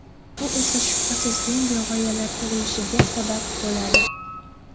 Bu esa, shubhasiz, yangi g‘oyalar tug‘ilishiga sabab bo‘ladi.